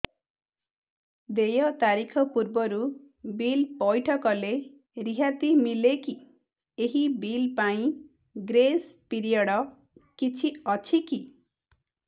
ଦେୟ ତାରିଖ ପୂର୍ବରୁ ବିଲ୍ ପୈଠ କଲେ ରିହାତି ମିଲେକି ଏହି ବିଲ୍ ପାଇଁ ଗ୍ରେସ୍ ପିରିୟଡ଼ କିଛି ଅଛିକି